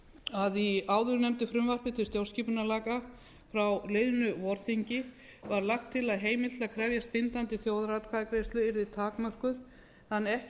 að í áðurnefndu frumvarpi til stjórnarskipunarlaga frá liðnu vorþingi var lagt til að heimild til að krefjast bindandi þjóðaratkvæðagreiðslu yrði takmörkuð þannig að ekki yrði hægt